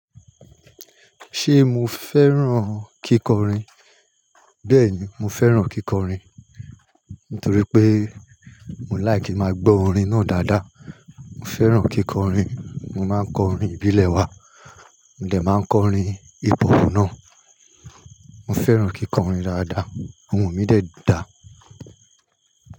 Ṣé mo fẹ́ràn kíkọrin? Bẹ́ẹ̀ni, mo fẹ́ràn kíkọrin. Nítorí pé mo like ki máa gbọ́ orin náà dáadáa. Mo fẹ́ràn kíkọrin. Mo máa ń kọ orin ìbílẹ̀ wa, mo dẹ máa n kọ orin hip-hop náà. Mo fẹ́ràn kíkọrin dáadáa. Ohùn mi dẹ dá.